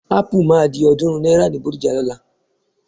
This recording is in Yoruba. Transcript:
Ápù máa di ọ̀ọ́dúnrún náírà ni Bódìjà lọ́la.